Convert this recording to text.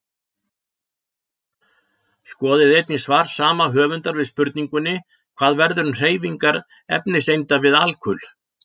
Skoðið einnig svar sama höfundar við spurningunni Hvað verður um hreyfingar efniseinda við alkul?